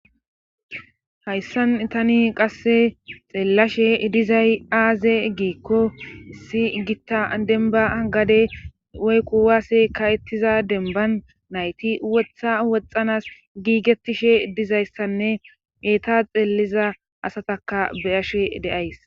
Hayssan itani qasse xeellashe dizay aaze giikko si gitta denba gade woykku waase ka7ettiza denban nayti wotha woxxanas giigetishe dizayssanne eeta xeelliza asataka beyashe deays.